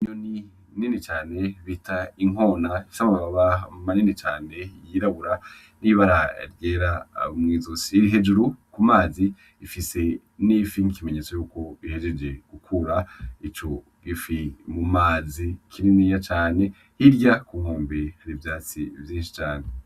Inyoni nini cane bita inkona ifise amababa manini cane yirabura yibara ryera mwizosi iri hejuru kumazi ifise ifi nikimenyetso yuko ihejeje gukura ico gifi mumazi kininiya cane hirya ibihumbi vyivyatsi bininiya cane.